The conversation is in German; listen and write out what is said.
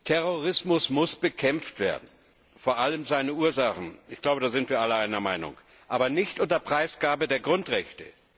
Terrorismus muss bekämpft werden, vor allem seine Ursachen ich glaube, in diesem Punkt sind wir alle einer Meinung aber nicht unter Preisgabe der Grundrechte!